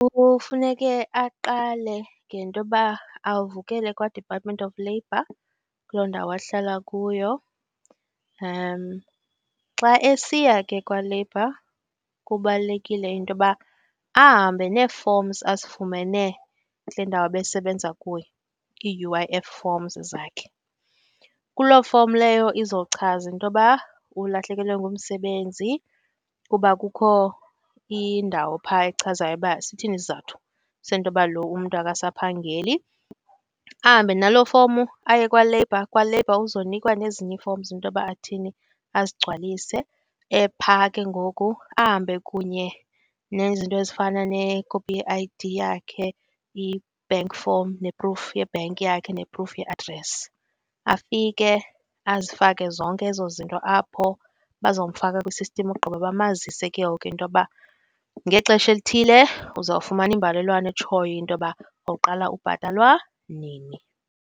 Kufuneke aqale ngento yoba avukele kwaDepartment of Labour kuloo ndawo ahlala kuyo . Xa esiya ke kwaleyibha, kubalulekile into yoba ahambe nefomzi azifumene kule ndawo ebesebenza kuyo ii-U_I_F forms zakhe. Kuloo fomi leyo izochaza into yoba ulahlekelwe ngumsebenzi kuba kukho indawo phaya echazayo uba sithini isizathu sento yoba loo umntu akasaphangeli. Ahambe naloo fomu aye kwaLabour. KwaLabour uzonikwa nezinye ii-forms intoba athini? Azigcwalise ephaa, ke ngoku ahambe kunye nezinto ezifana nekopi ye-I_D yakhe, i-bank form ne-proof ye-bank yakhe ne-proof ye-address. Afike azifake zonke ezo zinto apho, bazomfaka kwi-system ogqiba bamazise ke ngoku intoba ngexesha elithile uzawufumana imbalelwano etshoyo intoba uzawuqala ubhatalwa nini.